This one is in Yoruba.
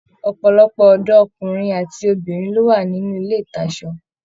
Ọpọlọpọ ọdọ ọkunrin àti obìnrin ló wà nínú ilé ìtasọ̀.